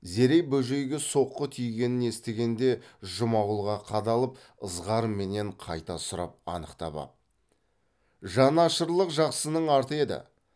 зере бөжейге соққы тигенін естігенде жұмағұлға қадалып ызғарменен қайта сұрап анықтап ап жан ашырлық жақсының арты еді